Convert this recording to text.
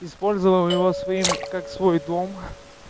использовал его своим как свой дом